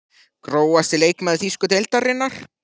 Grófasti leikmaður þýsku deildarinnar?